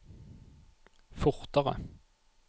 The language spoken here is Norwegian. fortere